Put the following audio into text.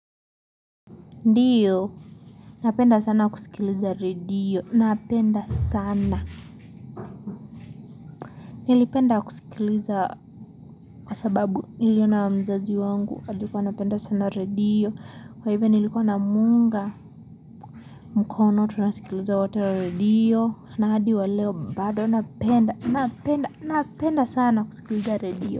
Ndiyo, napenda sana kusikiliza redio, napenda sana. Nilipenda kusikiliza kwa sababu niliona mzazi wangu, alikuwa anapenda sana redio. Kwa hivyo nilikuwa na muunga, mkono tunasikiliza wote redio. Na hadi wa leo mbado napenda, napenda, napenda sana kusikiliza redio.